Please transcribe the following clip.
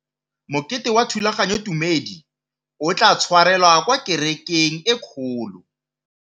Mokete wa thulaganyôtumêdi o tla tshwarelwa kwa kerekeng e kgolo.